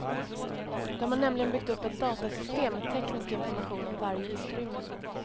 De har nämligen byggt upp ett datasystem med teknisk information om varje utrymme.